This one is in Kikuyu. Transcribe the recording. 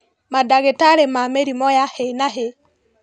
Mandagĩtarĩ ma mĩrimũ ya hi na hi